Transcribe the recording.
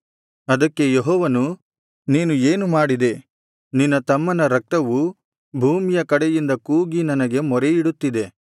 ಅದಕ್ಕೆ ಯೆಹೋವನು ನೀನು ಏನು ಮಾಡಿದೆ ಭೂಮಿಯ ಕಡೆಯಿಂದ ಕೂಗಿ ನನಗೆ ಮೊರೆಯಿಡುತ್ತಿದೆ ನಿನ್ನ ತಮ್ಮನ ರಕ್ತವು ಭೂಮಿಯ ಕಡೆಯಿಂದ ಕೂಗಿ ನನಗೆ ಮೊರೆಯಿಡುತ್ತಿದೆ